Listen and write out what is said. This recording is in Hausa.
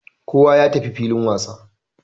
Kowa ya tafi filin wasa.